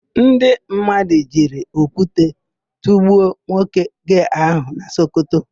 Ndị mmadụ jiri okwute tụgbuo nwoke gee áhụ̀ na Sokoto.